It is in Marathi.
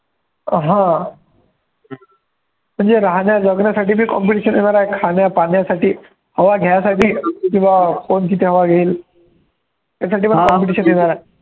अं हा म्हणजे राहण्या जगण्यासाठी जे competition येणार आहे, खाण्या, पाण्यासाठी हवा घ्यासाठी की बा कोण किती हवा घेईल त्यासाठी पण competition येणार आहे.